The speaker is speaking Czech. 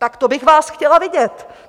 Tak to bych vás chtěla vidět.